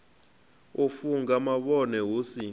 u funga mavhone hu si